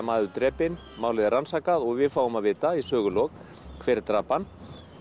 maður drepinn málið er rannsakað og við fáum að vita í sögulok hver drap hann